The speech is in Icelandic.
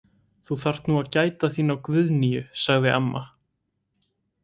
Þú þarft nú að gæta þín á Guðnýju, sagði amma.